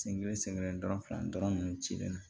Sen kelen sɛgɛn dɔrɔn fila dɔrɔn nunnu cilen don